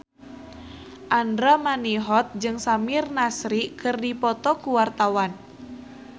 Andra Manihot jeung Samir Nasri keur dipoto ku wartawan